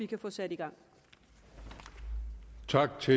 kan få sat i gang